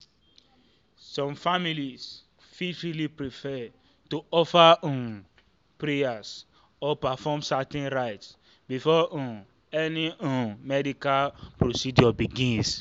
some families fit really prefer to offer um prayers or perform certain rites before um any um medical procedure begins."